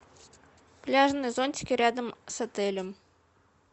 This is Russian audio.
пляжные зонтики рядом с отелем